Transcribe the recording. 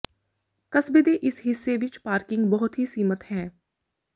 ਕਸਬੇ ਦੇ ਇਸ ਹਿੱਸੇ ਵਿੱਚ ਪਾਰਕਿੰਗ ਬਹੁਤ ਸੀਮਿਤ ਹੈ